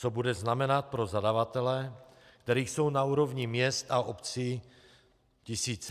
Co bude znamenat pro zadavatele, kterých jsou na úrovni měst a obcí tisíce?